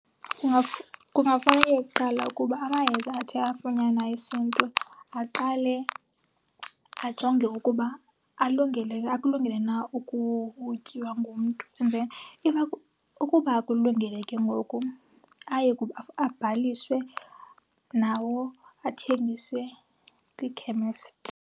Kungafanele kuqala ukuba amayeza athe afunyanwa esiNtu aqale ajonge ukuba alungele na akulungele na ukutyiwa ngumnt. And then if , ukuba akulungele ke ngoku aye abhaliswe nawo athengiswe kwiikhemesti.